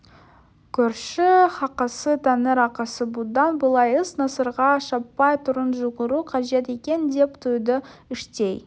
көрші хақысы тәңір ақысы бұдан былай іс насырға шаппай тұрып жүгіру қажет екен деп түйді іштей